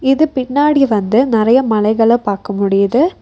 இது பின்னாடி வந்து நெறையா மலைகள பாக்க முடியுது.